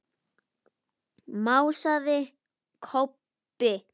másaði Kobbi.